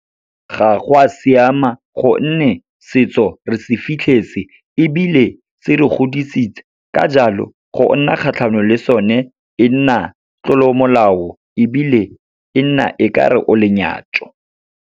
Ga go a siama, gonne setso re se fitlhetse ebile se re godisitse. Ka jalo, go nna kgatlhanong le sone, e nna tlolomolao ebile e nna e ka re o lenyatso.